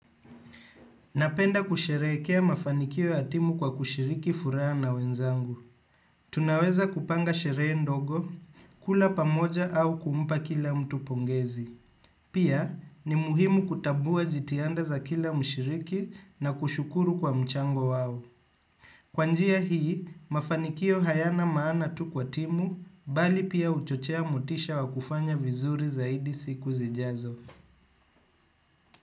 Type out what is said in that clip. Napenda kusherehekea mafanikio ya timu kwa kushiriki furaha na wenzangu. Tunaweza kupanga sherehe ndogo, kula pamoja au kumpa kila mtu pongezi. Pia, ni muhimu kutambua jitihada za kila mshiriki na kushukuru kwa mchango wao. Kwa njia hii, mafanikio hayana maana tu kwa timu, bali pia huchochea motisha wa kufanya vizuri zaidi siku zijazo.